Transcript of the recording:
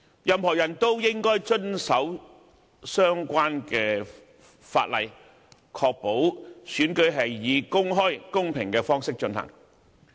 任何人都應該遵守相關條例，以確保選舉是以公開、公平的方式進行。